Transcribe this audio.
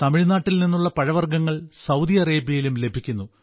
തമിഴ്നാട്ടിൽ നിന്നുള്ള പഴവർഗ്ഗങ്ങൾ സൌദി അറേബ്യയിലും ലഭിക്കുന്നു